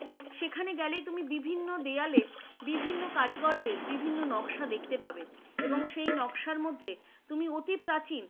সেখানে গেলে তুমি বিভিন্ন দেয়ালে বিভিন্ন কারিগরদের বিভিন্ন নকশা দেখতে পাবে, এবং সে নকশার মধ্যে তুমি অতি প্রাচীন